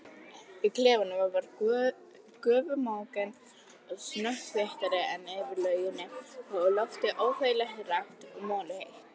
Í klefanum var gufumökkurinn snöggtum þéttari en yfir lauginni og loftið óþægilega rakt og molluheitt.